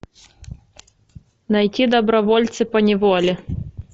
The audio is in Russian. найти добровольцы поневоле